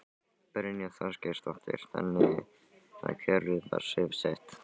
Brynja Þorgeirsdóttir: Þannig að kerfið er svifaseint?